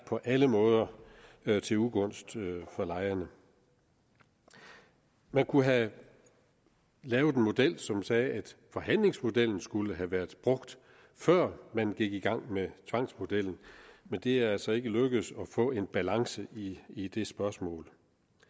på alle måder er til ugunst for lejerne man kunne have lavet en model som sagde at forhandlingsmodellen skulle have været brugt før man gik i gang med tvangsmodellen men det er altså ikke lykkedes at få en balance i i det spørgsmål